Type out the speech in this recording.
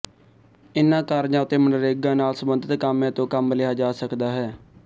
ਇਨ੍ਹਾਂ ਕਾਰਜਾਂ ਉੱਤੇ ਮਨਰੇਗਾ ਨਾਲ ਸਬੰਧਤ ਕਾਮਿਆਂ ਤੋਂ ਕੰਮ ਲਿਆ ਜਾ ਸਕਦਾ ਹੈ